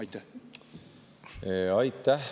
Aitäh!